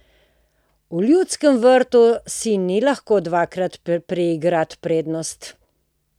V Ljudskem vrtu si ni lahko dvakrat priigrati prednosti.